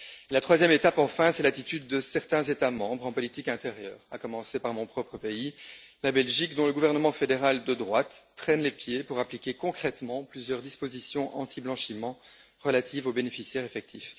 La troisième étape, enfin, c'est l'attitude de certains États membres en politique intérieure, à commencer par mon propre pays, la Belgique, dont le gouvernement fédéral de droite traîne les pieds pour appliquer concrètement plusieurs dispositions antiblanchiment relatives aux bénéficiaires effectifs.